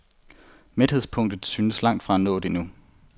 Mæthedspunktet synes langtfra nået endnu.